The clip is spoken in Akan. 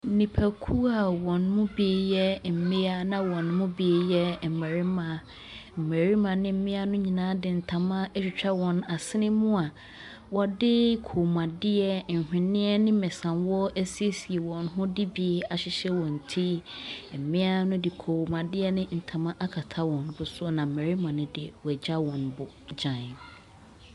Nnipakuo a wɔn mu bi yɛ mmea na wɔn mu bi yɛ mmarima. Mmarima ne mmea no nyinaa de ntama atwitwa wɔn asene mu a wɔde kɔmmuadeɛ, nhwenneɛ ne mmesawɔ asiesie wɔn ho de bi ahyehyɛ wɔn ti. Mmea no de kɔmmuadeɛ ne ntoma akata wɔn bo so, na mmarima no deɛ, wɔagya wɔn bo dwann.